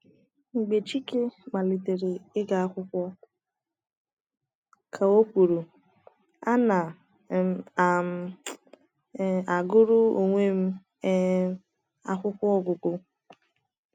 “ Mgbe chike malitere ịga akwụkwọ, ” ka o kwuru, “ ana um m um agụrụ onwe m um akwụkwọ ọgụgụ.